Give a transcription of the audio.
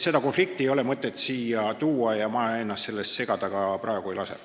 Seda konflikti ei ole mõtet siia tuua ja ma ennast praegu sellesse segada ka ei lase.